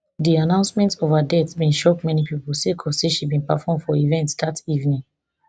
di announcement of her death bin shock many pipo sake of say she bin perform for event dat evening